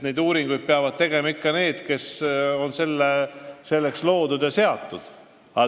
Neid uuringuid peavad tegema ikka need, kes on selleks loodud ja seatud.